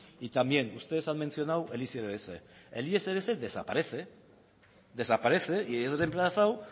y también ustedes han mencionado el icbs el icbs desaparece desaparece y es remplazado